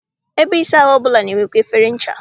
Ebe ịsa ahụ ọbụla na-enwekwa efere ncha.